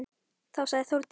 Þá sagði Þórdís: